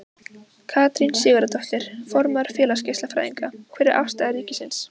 Katrín Sigurðardóttir, formaður Félags geislafræðinga: Hver er afstaða ríkisins?